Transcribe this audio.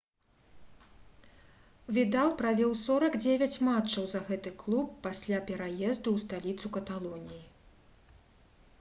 відал правёў 49 матчаў за гэты клуб пасля пераезду ў сталіцу каталоніі